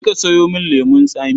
Je ka sayo min lemon tsami.